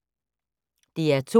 DR2